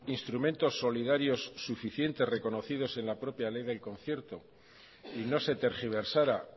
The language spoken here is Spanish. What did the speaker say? instrumentos solidarios suficientes reconocidos en la propia ley del concierto y no se tergiversara